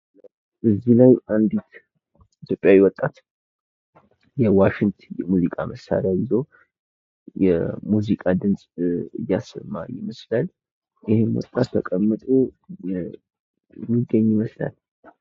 እዚህ ላይ አንዲት ኢትዮጵያዊ ወጣት የዋሽንት የሙዚቃ መሳሪያ ይዞ የሙዚቃ ድምፅ አያሰማ ይመስላል ። ይህም ወጣት ተቀምጦ የሚገኝ ይመስላል ።